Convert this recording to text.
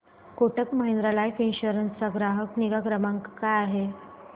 Kotak Mahindra life insurance चा ग्राहक निगा क्रमांक काय आहे